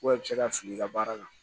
i bɛ se ka fili i ka baara la